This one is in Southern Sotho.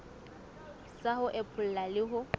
sa ho epolla le ho